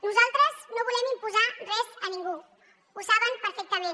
nosaltres no volem imposar res a ningú ho saben perfectament